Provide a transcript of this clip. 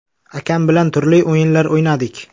Akam bilan turli o‘yinlar o‘ynardik.